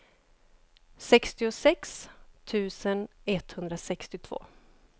sextiosex tusen etthundrasextiotvå